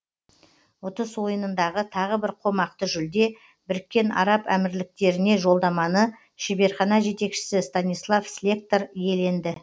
ұтыс ойынындағы тағы бір қомақты жүлде біріккен араб әмірліктеріне жолдаманы шеберхана жетекшісі станислав слектор иеленді